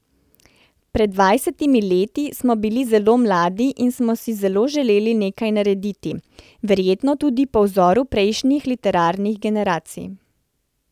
Pred dvajsetimi leti smo bili zelo mladi in smo si zelo želeli nekaj narediti, verjetno tudi po vzoru prejšnjih literarnih generacij.